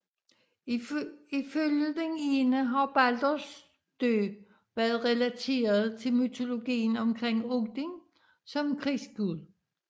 Ifølge den ene har Balders død været relateret til mytologien omkring Odin som krigsgud